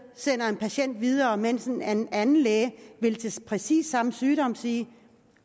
sender en patient videre mens en anden anden læge ved præcis samme sygdom vil sige